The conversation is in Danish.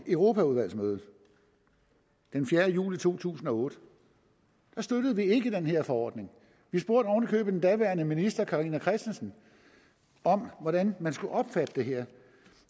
europaudvalget den fjerde juli to tusind og otte støttede vi ikke den her forordning vi spurgte oven i købet den daværende minister carina christensen om hvordan man skulle opfatte det her